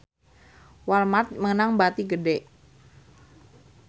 Walmart meunang bati gede